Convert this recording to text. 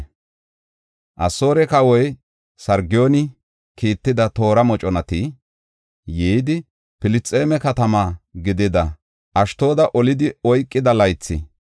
Asoore kawoy Sargooni kiitida toora moconati yidi, Filisxeeme katamaa gidida Ashdooda olidi oykida laythi,